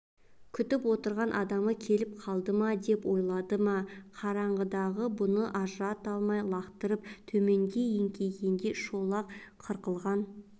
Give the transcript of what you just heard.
күтіп отырған адамы келіп қалды ма деп ойлады ма қараңғыдағы бұны ажырата алмай алақтап төменге еңкейгенде шолақ қырқылған